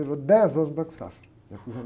Trabalhei dez anos no Banco Safra.